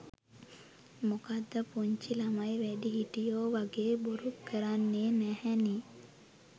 මොකද පුංචි ළමයි වැඩිහිටියෝ වගේ බොරු කරන්නේ නැහැනේ.